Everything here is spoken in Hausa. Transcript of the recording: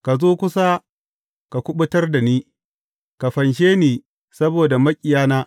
Ka zo kusa ka kuɓutar da ni; ka fanshe ni saboda maƙiyana.